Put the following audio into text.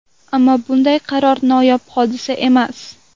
Ammo bunday qaror noyob hodisa emas.